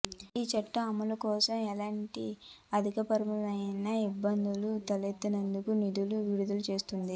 ఈ చట్టం అమలుకోసం ఎలాంటి ఆర్థికపరమయిన ఇబ్బందులు తలెత్తకుండా నిధులు విడుదల చేసింది